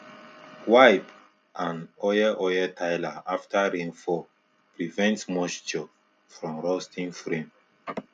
wipe and oil oil tiller after rainfall prevent moisture from rusting frame